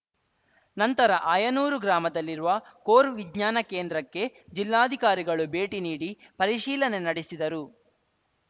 ನಂತರ ಆಯನೂರು ಗ್ರಾಮದಲ್ಲಿರುವ ಕೋರ್‌ ವಿಜ್ಞಾನ ಕೇಂದ್ರಕ್ಕೆ ಜಿಲ್ಲಾಧಿಕಾರಿಗಳು ಭೇಟಿ ನೀಡಿ ಪರಿಶೀಲನೆ ನಡೆಸಿದರು